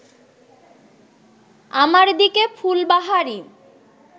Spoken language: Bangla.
আমার দিকে ফুলবাহারি